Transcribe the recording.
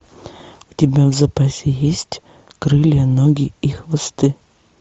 у тебя в запасе есть крылья ноги и хвосты